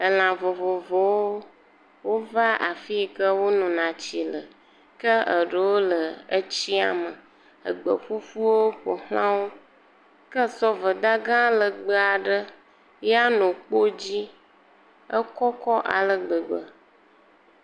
Elã vovovowo, wova afi yi ke etsi le. Ke eɖewo le etsia me, egbe ƒuƒuwo ƒo xla wo. Ke sɔveda gã legbee aɖe ya nɔ kpo dzi, ekɔkɔ aleke gbegbe.